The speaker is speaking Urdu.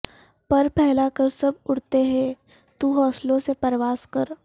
پر پھیلا کر سب اڑتے ہیں تو حوصلوں سے پرواز کر